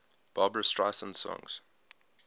barbra streisand songs